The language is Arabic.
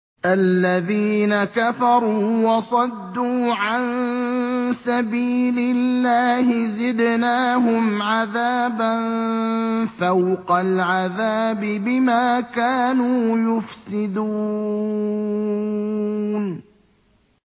الَّذِينَ كَفَرُوا وَصَدُّوا عَن سَبِيلِ اللَّهِ زِدْنَاهُمْ عَذَابًا فَوْقَ الْعَذَابِ بِمَا كَانُوا يُفْسِدُونَ